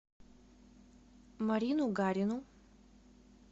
марину гарину